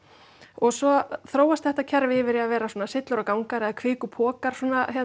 og svo þróast þetta kerfi yfir í að vera svona syllur og gangar eða kvikupokar